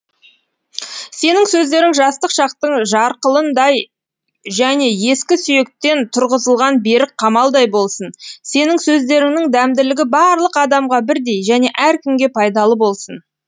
сенің сөздерің жастық шақтың жарқылындай және ескі сүйектен тұрғызылған берік қамалдай болсын сенің сөздеріңнің дәмділігі барлық адамға бірдей және әркімге пайдалы болсын